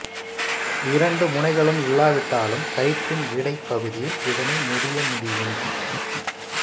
இரண்டு முனைகளும் இல்லாவிட்டாலும் கயிற்றின் இடைப்பகுதியில் இதனை முடிய முடியும்